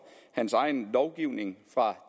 hans egen lovgivning fra